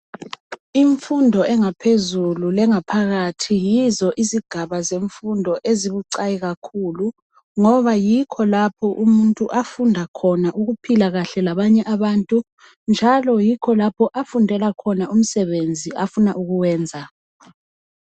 Imfundo engaphezulu lengaphakathi yizo izigaba zemfundo ezibucayi kakhulu ngoba yikho lapho umuntu afunda khona ukuphila kuhle labanye abantu njalo yikho lapho afundela khona umsebenzi afuna ukuwenza.